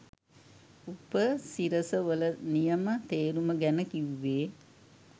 උපසිරස වල නියම තේරුම ගැන කිව්වේ